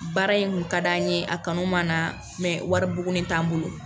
Baara in kun ka d'an ye a kanu m'an na wari buguni t'an bolo.